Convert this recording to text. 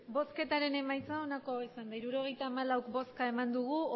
emandako botoak hirurogeita hamalau bai